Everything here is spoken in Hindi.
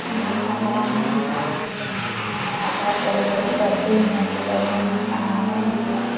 यहां बहोत सारे आदमी दिखाई दे रहे हैं यहां बहोत बड़े-बड़े डब्बे हैं में सामाने भी है।